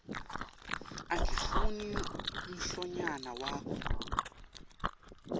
angifuni mlonyana wakho